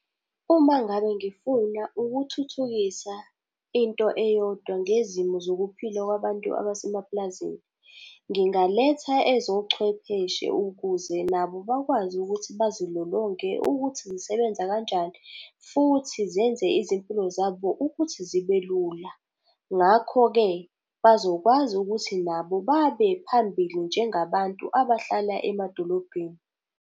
Uma ngabe ngifuna ukuthuthukisa into eyodwa ngezimo zokuphila kwabantu abasemapulazini, ngingaletha ezochwepheshe ukuze nabo bakwazi ukuthi bazilolonge ukuthi nisebenza kanjani, futhi zenze izimpilo zabo ukuthi zibe lula. Ngakho-ke, bazokwazi ukuthi nabo babe phambili njengabantu abahlala emadolobheni.